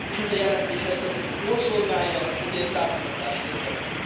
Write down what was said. És ez a jelentés ezt a célt jól szolgálja, és ezért támogatást érdemel.